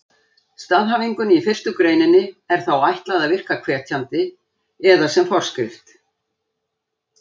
Staðhæfingunni í fyrstu greininni er þá ætlað að virka hvetjandi eða sem forskrift!